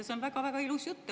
See on väga-väga ilus jutt.